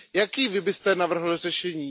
Jaké Vy byste navrhl řešení?